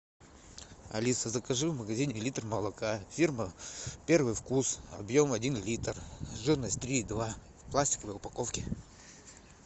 алиса закажи в магазине литр молока фирма первый вкус объем один литр жирность три и два в пластиковой упаковке